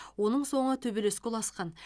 оның соңы төбелеске ұласқан